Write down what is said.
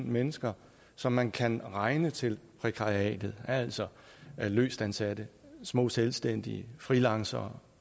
mennesker som man kan regne til prækariatet altså løstansatte små selvstændige freelancere